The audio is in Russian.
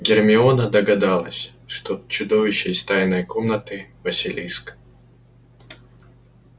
гермиона догадалась что чудовище из тайной комнаты василиск